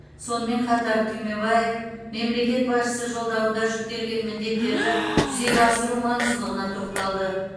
сонымен қатар түймебаев мемлекет басшысы жолдауында жүктелген міндеттерді жүзеге асыру маңыздылығына тоқталды